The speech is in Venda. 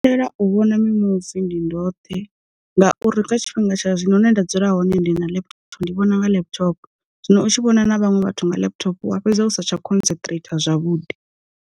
Lela u vhona mimuvi ndi ndoṱhe, ngauri kha tshifhinga tsha zwino hune nda dzula hone ndi na laptop ndi vhona nga laptop, zwino u tshi vhona na vhaṅwe vhathu nga laptop wa fhedzi usa tsha concentrator zwavhuḓi.